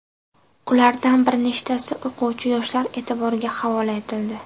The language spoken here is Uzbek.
Ulardan bir nechtasi o‘quvchi-yoshlar e’tiboriga havola etildi.